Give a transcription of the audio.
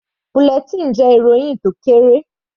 Bulletin jẹ́ ìròhìn tó kéré.